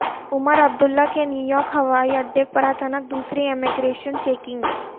عمر عبداللہ کی نیویارک ہوائی اڈے پر اچانک دوسری امیگریشن چیکنگ